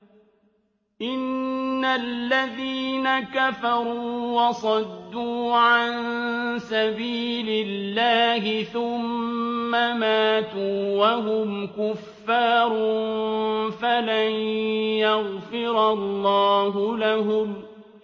إِنَّ الَّذِينَ كَفَرُوا وَصَدُّوا عَن سَبِيلِ اللَّهِ ثُمَّ مَاتُوا وَهُمْ كُفَّارٌ فَلَن يَغْفِرَ اللَّهُ لَهُمْ